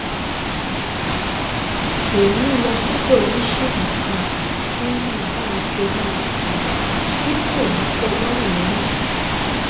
òun ń lọ sọ́dọ̀ oníṣègùn kan kí wọ́n má bàa jọ máa sọ̀rọ̀ tí kò ní tẹ lọ́rùn lọ́rùn